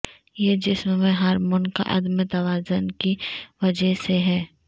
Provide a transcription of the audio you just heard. یہ جسم میں ہارمون کا عدم توازن کی وجہ سے ہے